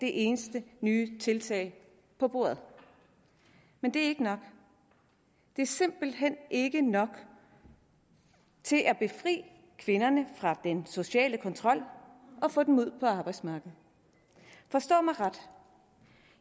de eneste nye tiltag på bordet men det er ikke nok det er simpelt hen ikke nok til at befri kvinderne fra den sociale kontrol og få dem ud på arbejdsmarkedet forstå mig ret